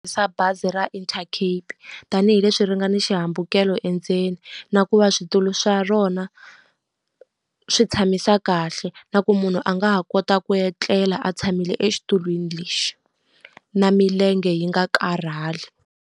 Bazi ra Intercape. Tanihi leswi ri nga na xihambukelo endzeni, na ku va switulu swa rona swi tshamisa kahle. Na ku munhu a nga ha kota ku etlela a tshamile exitulwini lexi, na milenge yi nga karhali.